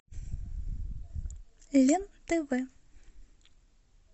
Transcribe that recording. лен тв